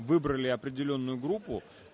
выбрали определённую группу